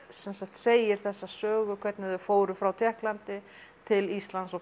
segir þessa sögu hvernig þau fóru frá Tékklandi til Íslands og